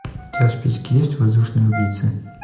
у тебя в списке есть воздушные убийцы